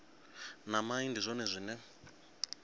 na mai ndi zwone zwine